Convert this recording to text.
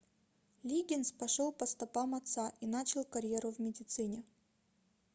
лиггинс пошел по стопам отца и начал карьеру в медицине